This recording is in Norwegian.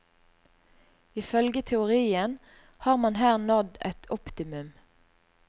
Ifølge teorien har man her nådd et optimum.